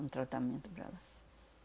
Um tratamento para lá.